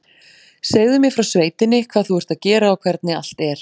Segðu mér frá sveitinni, hvað þú ert að gera og hvernig allt er